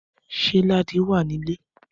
Ṣé Ladi wà nílé